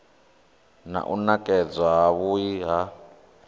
na u nekedzwa havhui ha